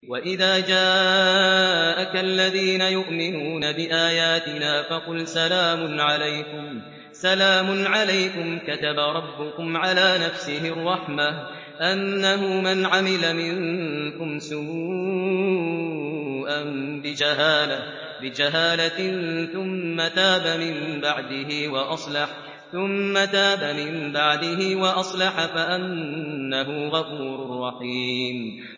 وَإِذَا جَاءَكَ الَّذِينَ يُؤْمِنُونَ بِآيَاتِنَا فَقُلْ سَلَامٌ عَلَيْكُمْ ۖ كَتَبَ رَبُّكُمْ عَلَىٰ نَفْسِهِ الرَّحْمَةَ ۖ أَنَّهُ مَنْ عَمِلَ مِنكُمْ سُوءًا بِجَهَالَةٍ ثُمَّ تَابَ مِن بَعْدِهِ وَأَصْلَحَ فَأَنَّهُ غَفُورٌ رَّحِيمٌ